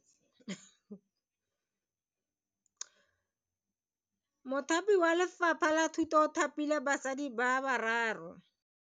Mothapi wa Lefapha la Thuto o thapile basadi ba ba raro.